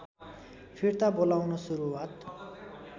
फिर्ता बोलाउन सुरुवात